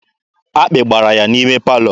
Akpị gbara ya n'ime palọ.